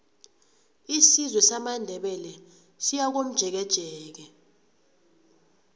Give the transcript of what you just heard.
isizwe samandebele siyakomjekejeke